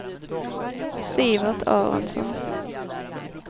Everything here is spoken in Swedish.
Sivert Aronsson